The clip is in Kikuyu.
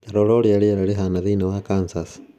Ta rora ũrĩa rĩera rĩhaana thĩinĩ wa Kansas